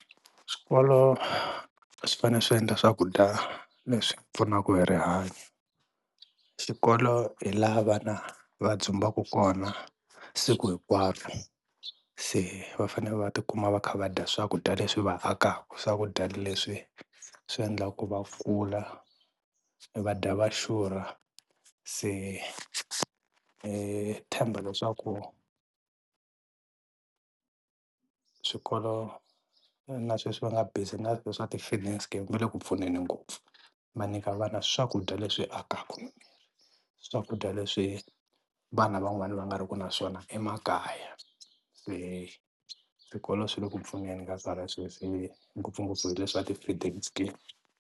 Swikolo swi fanele swi endla swakudya leswi pfunaka hi rihanyo, xikolo hi la vana va dzumbaka kona siku hinkwaro se va fane va tikuma va kha va dya swakudya leswi va akaka, swakudya leswi swi endlaka va kula va day va xurha se hi tshemba leswaku swikolo na sweswi va nga busy swa ti-feeding scheme va le ku pfuneni ngopfu va nyika vana swakudya leswi akaka, swakudya leswi vana van'wana va nga ri ku na swona emakaya se swikolo swi le ku pfuneni ka swona sweswi ngopfungopfu hi leswi swa ti-feeding scheme.